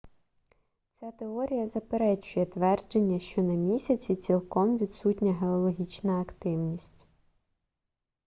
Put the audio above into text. ця теорія заперечує твердження що на місяці цілком відсутня геологічна активність